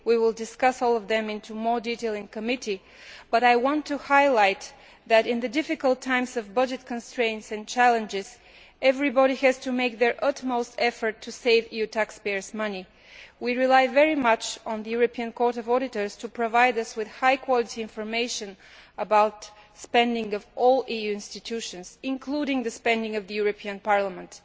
We will discuss all of them in more detail in committee, but I want to highlight that, in these difficult times of budget constraints and challenges, everybody has to make their utmost effort to save EU taxpayers' money. We rely very much on the European Court of Auditors to provide us with high quality information about the spending of all EU institutions, including the spending of the European Parliament.